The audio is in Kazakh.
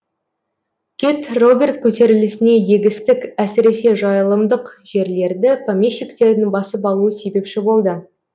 кет роберт көтерілісіне егістік әсіресе жайылымдық жерлерді помещиктердің басып алуы себепші болды